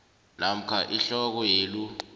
namkha ihloko yelu